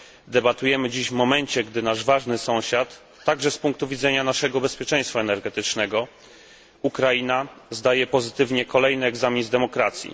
Debatujemy dziś w momencie, gdy nasz ważny sąsiad, także z punktu widzenia naszego bezpieczeństwa energetycznego, Ukraina, zdaje pozytywnie kolejny egzamin z demokracji.